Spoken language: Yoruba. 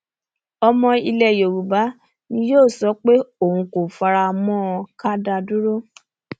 ọmọ ilẹ yoruba ni yóò sọ pé òun kò fara mọ ká da dúró